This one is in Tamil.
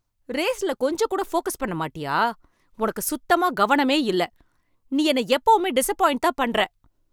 ரேஸ்ல கொஞ்சம் கூட ஃபோக்கஸ் பண்ண மாட்டியா? உனக்கு சுத்தமா கவனமே இல்ல. நீ என்ன எப்பவுமே டிசப்பாய்ண்ட்தான் பண்ற.